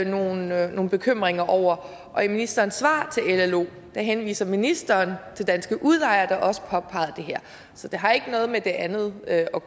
nogle nogle bekymringer over og i ministerens svar til llo henviser ministeren til danske udlejere der også påpegede det her så det har ikke noget med det andet at